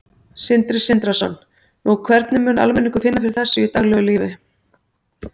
Sindri Sindrason: Nú, hvernig mun almenningur finna fyrir þessu í daglegu lífi?